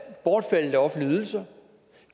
er bortfaldet af offentlige ydelser